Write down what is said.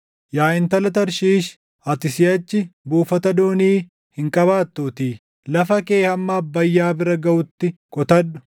Yaa Intala Tarshiish, ati siʼachi buufata doonii hin qabaattuutii, lafa kee hamma Abbayyaa bira gaʼutti qotadhu.